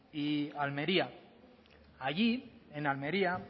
y almería allí en almería